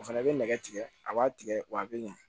O fana bɛ nɛgɛ tigɛ a b'a tigɛ wa a bɛ ɲɛ